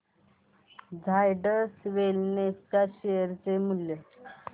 झायडस वेलनेस च्या शेअर चे मूल्य